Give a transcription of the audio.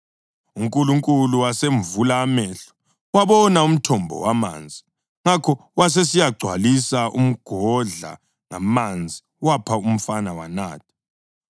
UNkulunkulu wasemvula amehlo, wabona umthombo wamanzi. Ngakho wasesiyagcwalisa umgodla ngamanzi wapha umfana wanatha.